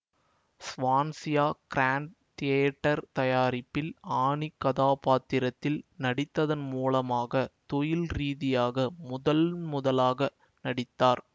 Swansea grand theatre தயாரிப்பில் Annie கதாப்பாத்திரத்தில் நடித்ததன் மூலமாக தொழில்ரீதியாக முதன்முதலாக நடித்தார்